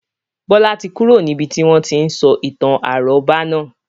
Bọlá tí kúrò níbi tí wọn tí ń sọ ìtàn àrọ́bá naa